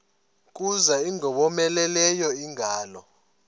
kuza ingowomeleleyo ingalo